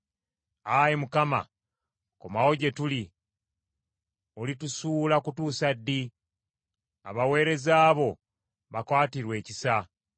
Ayi Mukama, komawo gye tuli. Olitusuula kutuusa ddi? Abaweereza bo bakwatirwe ekisa.